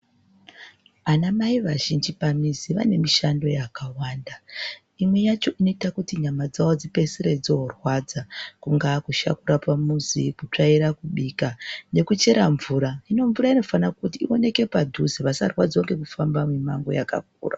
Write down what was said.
Anamai azhinji pamizi vane mishando yakawanda, imwe yacho inoita kuti nyama dzavo dzipedzisire dzorwadza kungaa kusha kurapa muzi, kunga kutswaira , kubika nekuchera mvura. Hino mvura nofanira kuti ioneke padhuze vasarwadzirwa ngekufamba mumango vakakura.